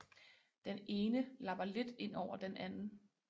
Den ene lapper lidt ind over den anden